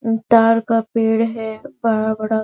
ताड़ का पेड़ है बड़ा -बड़ा --